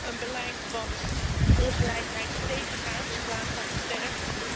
Komt er een beleid dat ongelijkheid tegengaat in plaats van versterkt?